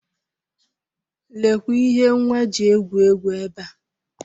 Lekwa ihe nwa ji egwu egwu ebe a.